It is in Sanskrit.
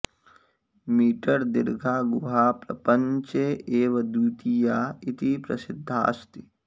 मीटर् दीर्घा गुहा प्रपञ्चे एव द्वितीया इति प्रसिध्दास्ति